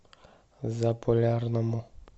заполярному